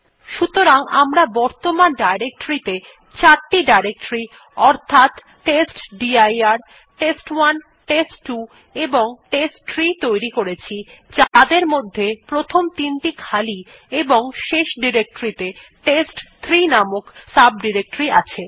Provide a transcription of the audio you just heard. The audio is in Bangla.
সুতরাং আমরা বর্তমান ডিরেক্টরীতে চারটি ডিরেক্টরী অর্থাৎ টেস্টডির টেস্ট1 টেস্ট2 এবং টেস্টট্রি তৈরি করেছি যাদের মধ্যে প্রথমটি তিনটি খালি এবং শেষ ডিরেক্টরীতে টেস্ট3 নামক সাব ডিরেক্টরী আছে